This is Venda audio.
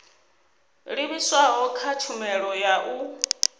livhiswaho kha tshumelo ya u